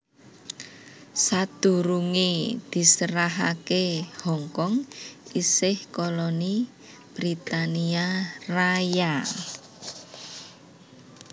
Sadurungé diserahaké Hong Kong isih koloni Britania Raya